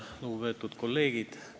Lugupeetud kolleegid!